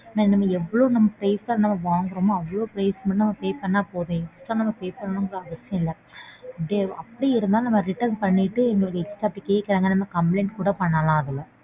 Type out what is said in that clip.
நாம எவ்ளோ price க்கு வாங்கறமோ அவ்ளோ price மட்டும் pay பண்ணா போதும். Extra pay பண்ணனும்னு அவசியம் இல்ல அப்படியே இருந்தாலும் நம்ம return பண்ணிட்டு எங்கள்ட்ட extra இப்படி கேக்கறாங்கன்னு complaint கூட பண்ணலாம் அதுல